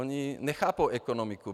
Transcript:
Oni nechápou ekonomiku.